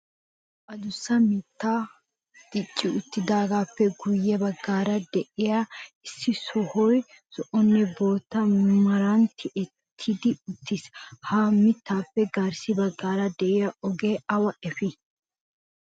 Addussa mittay dicci uttidaagappe guyye baggaara de'iya issi sohoy zo"onne bootta meran tiyyetti uttiis. Ha mittappe garssa baggaara de'iyaa ogee awa efii?